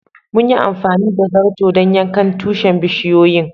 Mun yi amfani da zarto dan yankan bisiyoyin tushin.